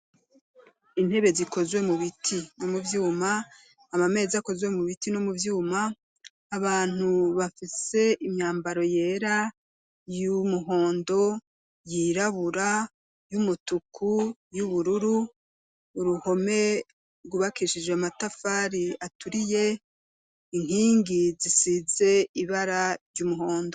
Intebe zikozwe mu biti no mu vyuma, ama meza akozwe mu biti no mu vyuma, abantu bafise imyambaro yera y'umuhondo, yirabura, y'umutuku, y'ubururu. Uruhome rgubakishijwe amatafari aturiye inkingi zisize ibara ry'umuhondo.